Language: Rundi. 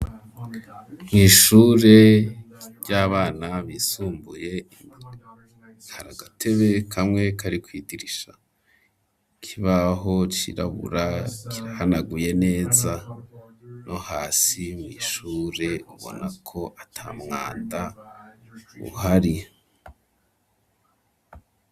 Mu ishure ry'abana bisumbuye hari agatebe kamwe kari kwidirisha ikibaho kirabura kiranaguye neza no hasi mu ishure ubona ko atari umwanda uhari.